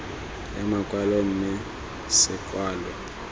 ya makwalo mme se kwalwe